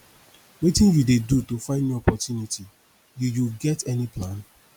wetin you dey do to find new opportunity you you get any plan